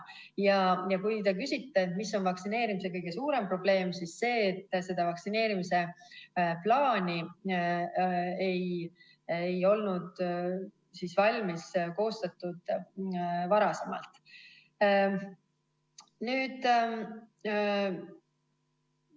Kui te küsite, mis on vaktsineerimise kõige suurem probleem, siis see on see, et vaktsineerimise plaani ei olnud varem valmis.